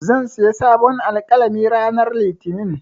Zan sayi sabon alƙalami ranar Litinin.